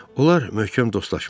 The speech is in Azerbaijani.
Onlar möhkəm dostlaşmışdılar.